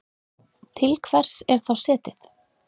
Til hvers er þá setið?